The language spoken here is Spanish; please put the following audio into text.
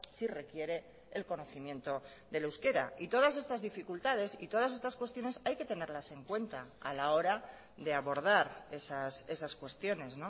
sí requiere el conocimiento del euskera y todas estas dificultades y todas estas cuestiones hay que tenerlas en cuenta a la hora de abordar esas cuestiones